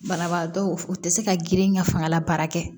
Banabaatɔ u tɛ se ka girin ka fanga la baara kɛ